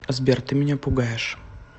сбер ты меня пугаешь